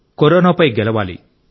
కరోనాపై గెలవాలి